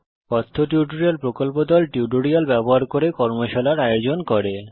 কথ্য টিউটোরিয়াল প্রকল্প দল কথ্য টিউটোরিয়াল ব্যবহার করে কর্মশালার আয়োজন করে